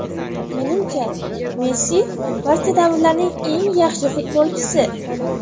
Menimcha Messi barcha davrlarning eng yaxshi futbolchisi.